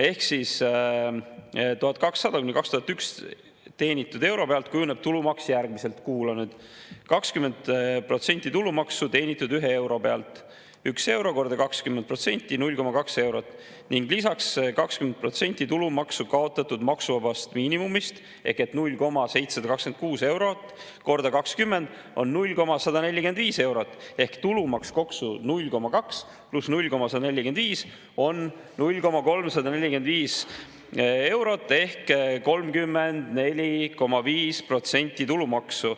Teenitud 1200–2100 euro pealt kujuneb tulumaks järgmiselt, kuula nüüd: 20% tulumaksu teenitud ühe euro pealt, üks euro korda 20% on 0,2 eurot, ning lisaks 20% tulumaksu kaotatud maksuvabast miinimumist ehk 0,726 eurot korda 20% on 0,145 eurot ehk tulumaks 0,2 pluss 0,145 on 0,345 eurot ehk 34,5% tulumaksu.